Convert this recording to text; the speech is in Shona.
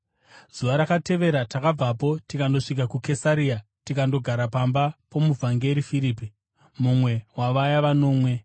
Zuva rakatevera takabvapo, tikandosvika kuKesaria tikandogara pamba pomuvhangeri Firipi, mumwe wavaya vanomwe.